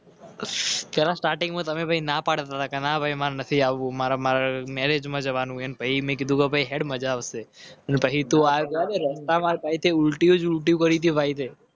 Starting starting માં તમે ભાઈ ના પાડતા કે ના ભાઈ મારે નથી આવવું. મારા મેરેજ માં જવાનું.